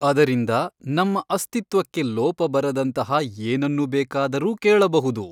ಅದರಿಂದ ನಮ್ಮ ಅಸ್ತಿತ್ವಕ್ಕೆ ಲೋಪ ಬರದಂತಹ ಏನನ್ನು ಬೇಕಾದರೂ ಕೇಳಬಹುದು.